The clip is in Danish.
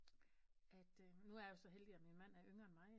At nu er jeg jo så heldig at min mand er yngre end mig